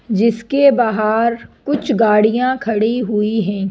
जिसके बाहर कुछ गाड़ियां खड़ी हुई हैं।